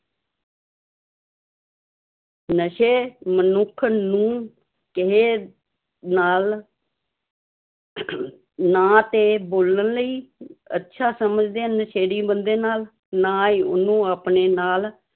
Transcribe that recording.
ਨਸ਼ੇ ਮਨੁੱਖ ਨੂੰ ਕਿਸੇ ਨਾਲ ਨਾ ਤੇ ਬੋਲਣ ਲਈ ਅੱਛਾ ਸਮਝਦੇ ਹਨ ਨਸ਼ੇੜੀ ਬੰਦੇ ਨਾਲ, ਨਾ ਹੀ ਉਹਨੂੰ ਆਪਣੇ ਨਾਲ